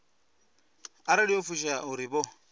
arali yo fushea uri vho